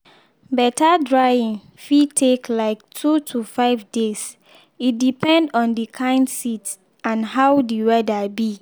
better drying fit take like two to five days e depend on the kind seed and how the weather be.